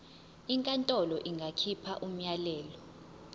inkantolo ingakhipha umyalelo